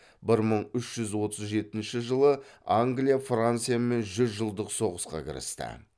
бір мың үш жүз отыз жетінші жылы англия франциямен жүз жылдық соғысқа кірісті